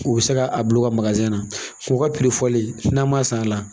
U bi se ka a bila u ka na k'u ka fɔli n'an ma san a la